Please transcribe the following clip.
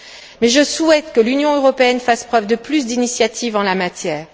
Mais je souhaite que l'Union européenne fasse davantage preuve d'initiative en la matière.